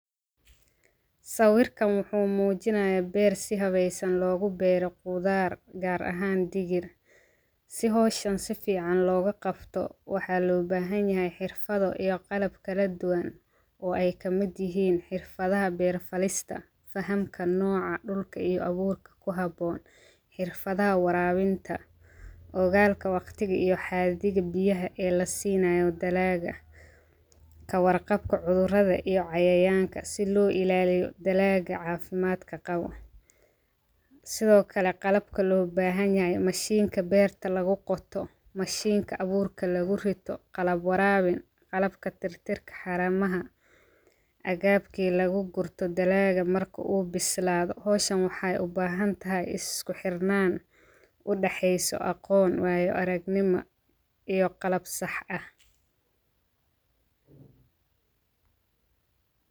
Sawirkan wuxuu muujinayaa beer si habeysan loogu beero qudaar gaar ahaan digir si hooshan si fiican looga qabto waxaa loo baahan yahay xirfado iyo qalab kala duwan oo ay ka mid yihiin xirfadaha beer falista fahamka nooca dhulka iyo abuurka ku habboon xirfadaha waraabinta ogalka waqtiga iyo xaadiga biyaha ee la siinayo dalaaga ka warqabka cudurrada iyo cayayaanka si loo ilaaliyo dalaga caafimaadka qabo sidoo kale maxa u baahan yahay mashiinka beerta lagu qorto mashiinka abuurka lagu rito qalab waraabe calab ka tirtirka xaramaha agaabkii lagu gurto dalaaga marka uu bislaado hawshan waxay u baahan tahay isku xirnaan u dhexeyso aqoon waayo aragnimo iyo qalab sax ah.